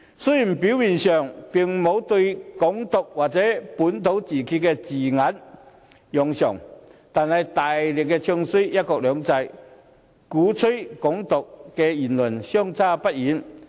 雖然表面上並沒有用上"港獨"或本土自決的字眼，但卻大力"唱衰""一國兩制"，與鼓吹"港獨"的言論相差不遠。